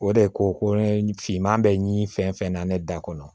O de ko ko ne finman bɛ ɲi fɛn fɛn na ne da kɔnɔ